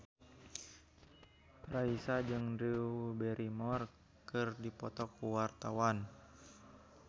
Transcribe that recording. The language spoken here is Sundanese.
Raisa jeung Drew Barrymore keur dipoto ku wartawan